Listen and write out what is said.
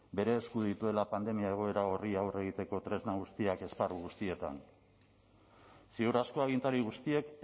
bere esku dituela pandemia egoera horri aurre egiteko tresna guztiak esparru guztietan ziur asko agintari guztiek